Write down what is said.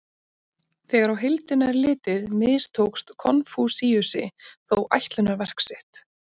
Þegar á heildina er litið mistókst Konfúsíusi þó ætlunarverk sitt.